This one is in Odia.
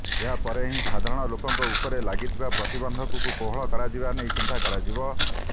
ଏହାପରେ ହିଁ ସାଧାରଣ ଲୋକଙ୍କ ଉପରେ ଲାଗିଥିବା ପ୍ରତିବନ୍ଧକକୁ କୋହଳ କରାଯିବା ନେଇ ଚିନ୍ତା କରାଯିବ